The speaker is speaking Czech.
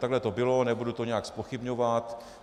Takhle to bylo, nebudu to nijak zpochybňovat.